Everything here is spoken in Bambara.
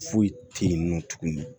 Foyi tɛ yen nɔ tuguni